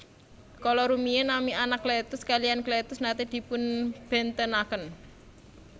Kala rumiyin nami Anakletus kaliyan Kletus naté dipunbèntenaken